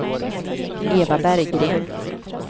Eva Berggren